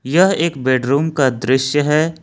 यह एक बेडरूम का दृश्य है।